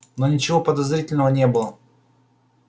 но ничего подозрительного не было